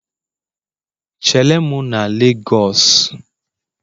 Chere m na Lagosu!